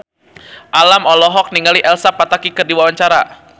Alam olohok ningali Elsa Pataky keur diwawancara